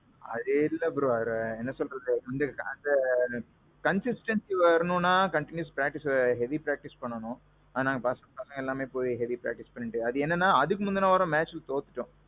அது இல்ல bro. அது என்ன சொல்றது கொஞ்சம் startல consistancy வரணும்னா continuous practice heavy practice பண்ணனும். அத பசங்க நாங்க எல்லாருமே போயி heavy practice, அதுக்கு என்னன்னா, அதுக்கு முந்தின வாரம் match தோத்துட்டோம்.